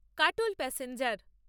Katol passenger